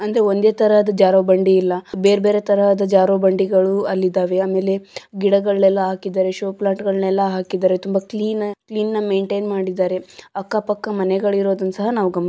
ಅಂದ್ರೆ ಒಂದ ತರಹದ ಜಾರೊ ಬಂಡಿ ಇಲ್ಲ ಬೇರೆ ಬೇರೆ ತರಹದ ಜಾರೊ ಬಂಡಿಗಳು ಅಲ್ಲಿದ್ದಾವೆ ಆಮೇಲೆ ಗಿಡಗಳೆಲ್ಲ ಹಾಕಿದ್ದಾರೆ ಶೋ ಪ್ಲಾಂಟ್ಗಳನ್ನೆಲ್ಲ ಹಾಕಿದ್ದಾರೆ ಮತ್ತು ತುಂಬಾ ಕ್ಲೀನ್ ಆಗಿ ಕ್ಲೀನ್ನ ಮೇಂಟೈನ್ ಮಾಡಿದ್ದಾರೆ ಅಕ್ಕ ಪಕ್ಕ ಮನೆಗಳಿರೋದನ್ನ ಸಹ ನಾವು ಗಮನಿ --